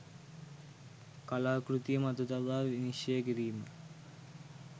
කලා කෘතිය මත තබා විනිශ්චය කිරීම